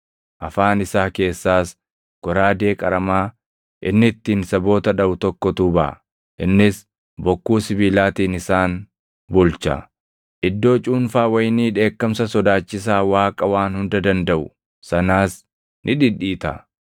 Afaan isaa keessaas goraadee qaramaa inni ittiin saboota dhaʼu tokkotu baʼa; “Innis bokkuu sibiilaatiin isaan bulcha.” + 19:15 \+xt Far 2:9\+xt* Iddoo cuunfaa wayinii dheekkamsa sodaachisaa Waaqa Waan Hunda Dandaʼu sanaas ni dhidhiita.